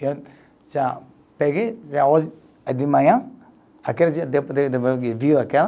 Eu já peguei, já hoje, de manhã, aquele dia, depois que viu aquela,